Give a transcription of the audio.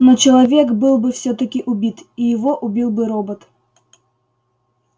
но человек был бы всё-таки убит и его убил бы робот